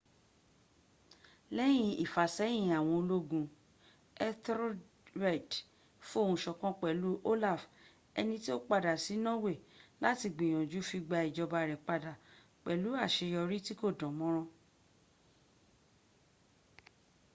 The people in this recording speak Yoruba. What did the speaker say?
lẹ́yìn ìfàṣẹ́yìn àwọn ológun etherlred fohùnsọ̀kan pẹ̀lú olaf ẹni tí ó padà sí norway láti gbìyànjú fi gba ìjọba rẹ̀ padà pẹlù àṣeyọrí tí kò dán mọ́rán